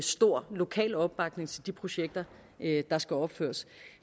stor lokal opbakning til de projekter der skal opføres